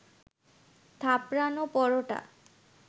থাপড়ানো পরোটা